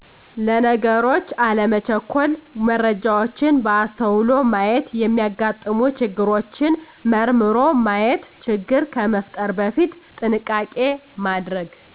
ለነገሮች አለመቸኮል መረጃዎችን በአስተዉሎ ማየት የሚያጋጥሙ ችግሮችን መርምሮ ማየት ችግር ከመፍጠር በፊት ጥንቃቄ ማድረግ